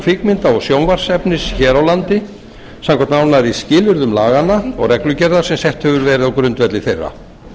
kvikmynda og sjónvarpsefnis hér á landi samkvæmt nánari skilyrðum laganna og reglugerðar sem sett hefur verið á grundvelli þeirra